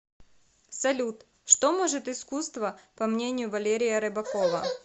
салют что может искусство по мнению валерия рыбакова